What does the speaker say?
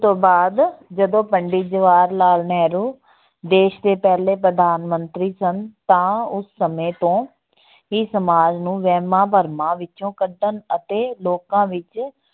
ਬਾਅਦ ਜਦੋਂ ਪੰਡਿਤ ਜਵਾਹਰ ਲਾਲ ਨਹਿਰੂ ਦੇਸ ਦੇ ਪਹਿਲੇ ਪ੍ਰਧਾਨ ਮੰਤਰੀ ਸਨ ਤਾਂ ਉਸ ਸਮੇਂ ਤੋਂ ਇਹ ਸਮਾਜ ਨੂੰ ਵਹਿਮਾਂ-ਭਰਮਾਂ ਵਿੱਚੋਂ ਕੱਢਣ ਅਤੇ ਲੋਕਾਂ ਵਿੱਚ